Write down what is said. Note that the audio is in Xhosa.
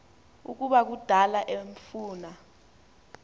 ukuba kudala emfuna